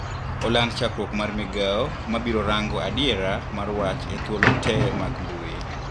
Oland chakruok mar migao mabirorango adiera mar wach e thuolo tee mag mbui.